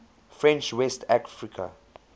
french west africa